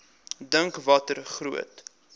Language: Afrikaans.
dink watter groot